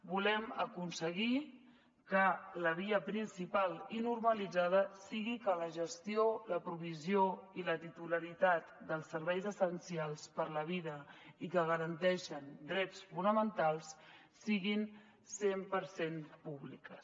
volem aconseguir que la via principal i normalitzada sigui que la gestió la provisió i la titularitat dels serveis essencials per a la vida i que garanteixen drets fonamentals siguin cent per cent públiques